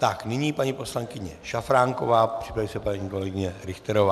Tak nyní paní poslankyně Šafránková, připraví se paní kolegyně Richterová.